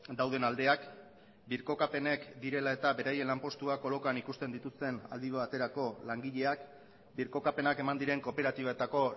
dauden aldeak birkokapenek direla eta beraien lanpostuak kolokan ikusten dituzten aldi baterako langileak birkokapenak eman diren kooperatibetako